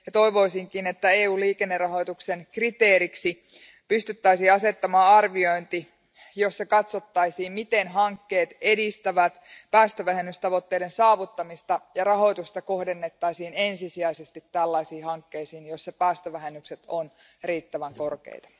Toivoisinkin, että EU liikennerahoituksen kriteeriksi pystyttäisiin asettamaan arviointi, jossa katsottaisiin, miten hankkeet edistävät päästövähennystavoitteiden saavuttamista, ja rahoitusta kohdennettaisiin ensisijaisesti tällaisiin hankkeisiin, joissa päästövähennykset ovat riittävän korkeita.